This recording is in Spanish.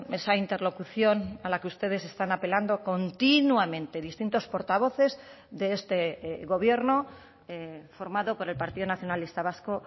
esa interlocución a la que ustedes están apelando continuamente distintos portavoces de este gobierno formado por el partido nacionalista vasco